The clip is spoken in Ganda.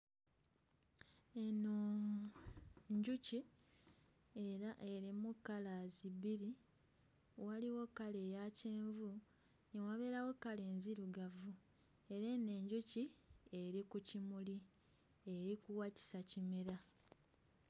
Eno njuki era erimu kkalaazi bbiri waliwo kkala eya kyenvu ne wabeerawo kkala enzirugavu naye eno enjuki eri ku kimuli erikuwakisa kimera.